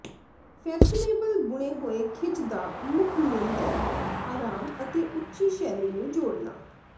fashionable ਬੁਣੇ ਹੋਏ ਖਿੱਚ ਦਾ ਮੁੱਖ ਨਿਯਮ ਹੈ ਆਰਾਮ ਅਤੇ ਉੱਚੀ ਸ਼ੈਲੀ ਨੂੰ ਜੋੜਨਾ